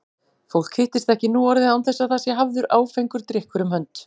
Fólk hittist ekki nú orðið án þess að það sé hafður áfengur drykkur um hönd.